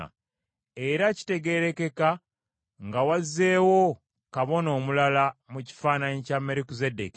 Era kitegeerekeka nga wazeewo Kabona omulala mu kifaananyi kya Merukizeddeeki,